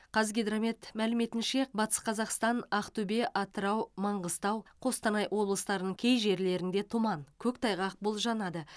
қазгидромет мәліметінше батыс қазақстан актөбе атырау манғыстау қостанай облыстарының кей жерлерінде тұман көктайғақ болжанады